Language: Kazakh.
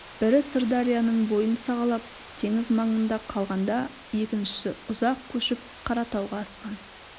бірі сырдарияның бойын сағалап теңіз маңында қалғанда екіншісі ұзақ көшіп қаратауға асқан